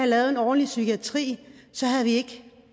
lave en ordentlig psykiatri ville det